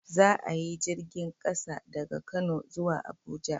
Za a yi jirgin ƙasa daga kano zuwa Abuja